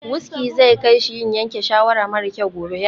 Wuski zai kai shi yin yanke shawara mara kyau gobe.